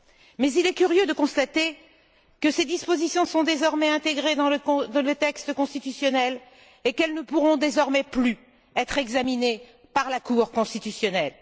mais il est curieux de constater que ces dispositions sont désormais intégrées dans le texte constitutionnel et qu'elles ne pourront désormais plus être examinées par la Cour constitutionnelle.